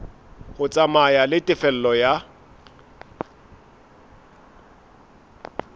ho tsamaya le tefello ya